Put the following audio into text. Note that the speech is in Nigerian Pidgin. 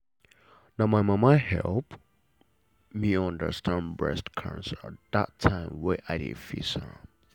na my mama help me understand breast cancer that time wey i dey face am.